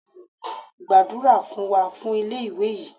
Gbàdúrà fún wa fún ilé ìwé yìí!